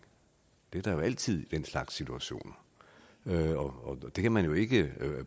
det er der jo altid i den slags situationer det kan man jo ikke